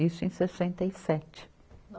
Isso em sessenta e sete.